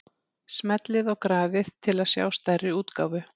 Smellið á grafið til að sjá stærri útgáfu.